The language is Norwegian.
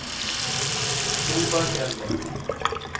Solbergelva